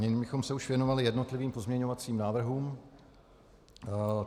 Nyní bychom se už věnovali jednotlivým pozměňovacím návrhům.